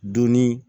Donni